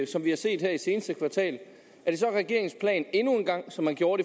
som vi har set i det seneste kvartal er det så regeringens plan endnu engang som man gjorde